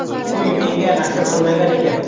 Uy menga nasib qilmagan ekan.